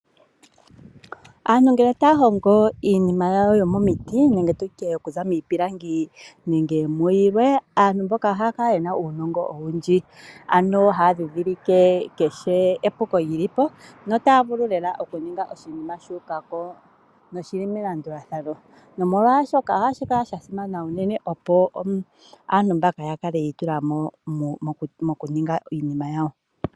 Aantu ngele taya hongo iinima yawo yomomiti nenge tutye okuza miipilangi nenge mu yilwe. Aantu mboka ohaya kala yena uunongo owundji, ano haya dhidhilike keshe epuko lyili po, no taya vulu lela okuninga oshinima shuukako no shili melandulathano. No molwaashoka ohashi kala sha simana unene opo aantu mbaka ya kale yiitulamo mokuninga iinima yawo.